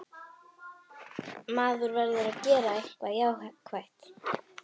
Maður verður að gera eitthvað jákvætt.